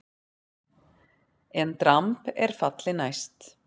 EN DRAMB ER FALLI NÆST!